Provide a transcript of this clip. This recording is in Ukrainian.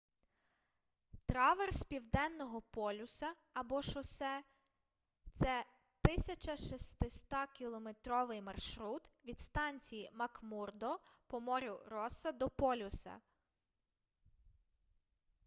траверс південного полюса або шосе — це 1600-кілометровий маршрут від станції макмурдо по морю росса до полюса